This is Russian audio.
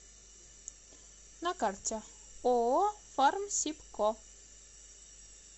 на карте ооо фармсибко